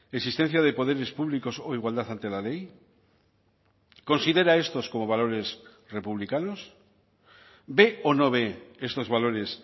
existencia de poderes públicos o igualdad ante la ley considera estos como valores republicanos ve o no ve estos valores